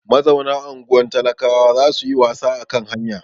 Mazauna unguwar talakawa za su yi wasa a kan hanya.